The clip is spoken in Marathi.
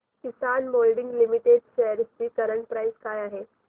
किसान मोल्डिंग लिमिटेड शेअर्स ची करंट प्राइस काय आहे